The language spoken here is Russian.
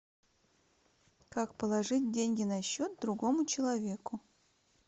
как положить деньги на счет другому человеку